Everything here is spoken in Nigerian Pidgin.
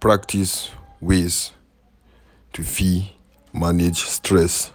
Practice ways to fit manage stress